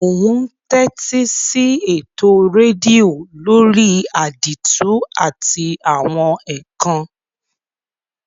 Mo n tẹ́tísí eto redio lórí àdìtú àti àwon ékán